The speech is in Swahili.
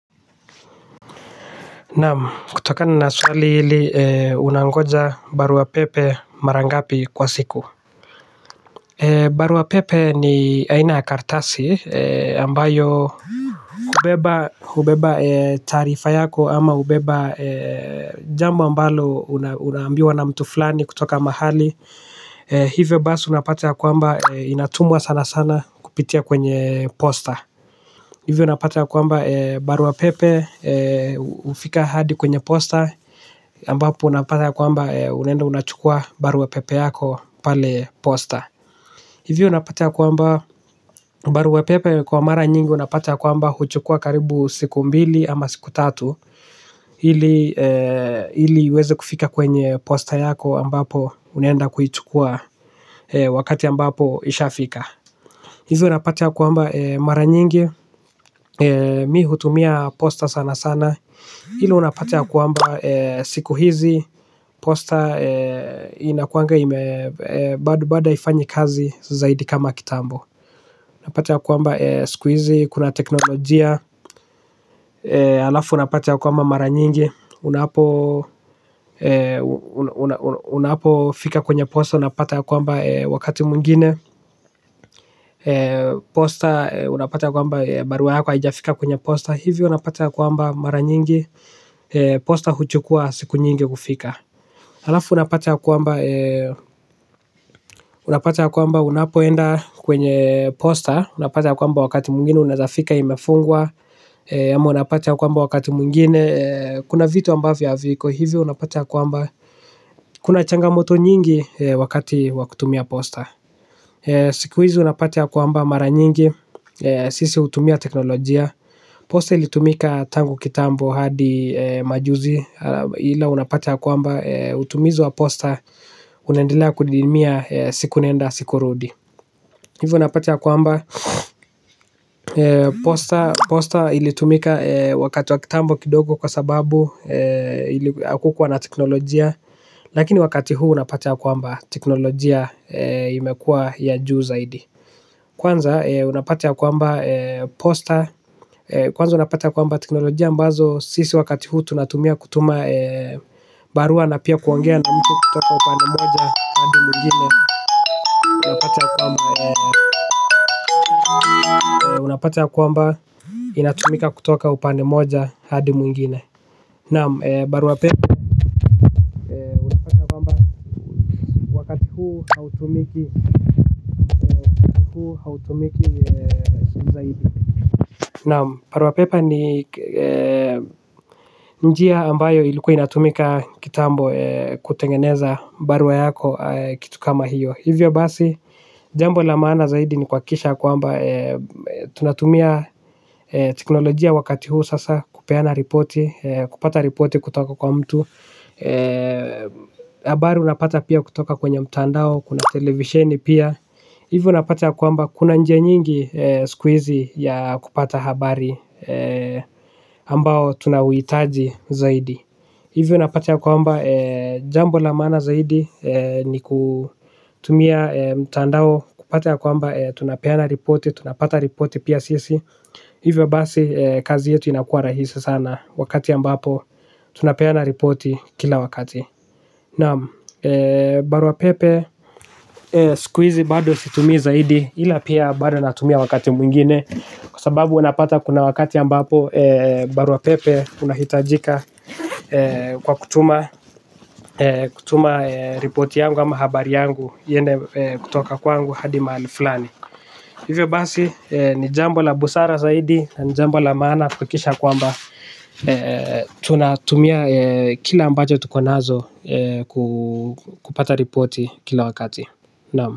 Naam kutokana na swali hili unangoja barua pepe mara ngapi kwa siku. Barua pepe ni aina kartasi ambayo hubeba taarifa yako ama hubeba jambo ambalo unaambiwa na mtu fulani kutoka mahali hivyo basi unapate ya kwamba inatumwa sana sana kupitia kwenye posta. Hivyo unapata ya kwamba barua pepe ufika hadi kwenye posta ambapo unapata kwamba unaenda unachukua barua pepe yako pale posta. Hivyo unapata ya kwamba barua pepe kwa mara nyingi unapata kwamba huchukua karibu siku mbili ama siku tatu ili iwezi kufika kwenye posta yako ambapo unaenda kuchukua wakati ambapo isha fika. Hivyo unapata kwamba mara nyingi mi hutumia posta sana sana ila unapata ya kwamba siku hizi, posta inakuanga ime bado bado haianyi kazi zaidi kama kitambo. Unapata ya kuamba siku hizi, kuna teknolojia, alafu unapata ya kuamba mara nyingi unapo unapo fika kwenye posta unapata ya kuamba wakati mwingine posta unapata ya kuamba barua yako haijafika kwenye posta. Hivyo unapata ya kuamba mara nyingi, posta huchukua siku nyingi kufika. Alafu unapata ya kwamba unapate ya kwamba unapoenda kwenye posta unapata ya kuamba wakati mwingine unaeza fika imefungwa ama unapata ya kwamba wakati mwingine kuna vitu ambavyo haviko hivyo unapata ya kwamba kuna changa moto nyingi wakati wa kutumia posta siku hizi unapata kwamba mara nyingi siku hizi sisi hutumia teknolojia posta ilitumika tangu kitambo hadi majuzi ila unapata ya kwamba utumizi wa posta unaendelea kudidimia siku nenda siku rudi hivo unapata ya kwamba posta ilitumika wakati wa kitambo kidogo kwa sababu hakukua na teknologia lakini wakati huu unapata ya kwamba teknolojia imekuwa ya juu zaidi kwanza unapata ya kwamba posta. Kwanza unapata ya kwamba teknolojia ambazo sisi wakati hu tunatumia kutuma barua na pia kuongea na mtu kutoka upande moja mwingine unapata kwamba unapata ya kwamba inatumika kutoka upande moja hadi mwingine. Naam barua pepe unapata kwamba wakati huuhautumiki zaidi. Naam barua pepe ni njia ambayo ilikua inatumika kitambo kutengeneza barua yako. Kitu kama hiyo. Hivyo basi jambo la maana zaidi ni kuhakikisha kwamba tunatumia teknolojia wakati huu sasa. Kupeana ripoti. Kupata ripoti kutoka kwa mtu. Habari unapata pia kutoka kwenye mtandao. Kuna televisioni pia. Hivyo unapata kwamba kuna nje nyingi. Siku hizi ya kupata habari ambao tunaohitaji zaidi. Hivyo unapata kwa amba jambo la maana zaidi. Ni kutumia mtandao kupata ya kwamba tunapata ripoti pia sisi. Hivyo basi kazi yetu inakua rahisi sana. Wakati ambapo tunapata ripoti kila wakati. Naam, barua pepe. Siku hizi bado situmii zaidi ila pia bado natumia wakati mwingine. Kwa sababu huwa napata kuna wakati ambapo barua pepe unahitajika kwa kutuma. Kutuma ripoti yangu ama habari yangu hio ndio kutoka kwangu hadi mahalu fulani. Hivyo basi ni jambo la busara zaidi na jambo la maana kuhakikisha kwamba tunatumia kila ambacho tuko nazo kupata ripoti kila wakati Naam.